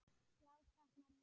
Blár táknar von.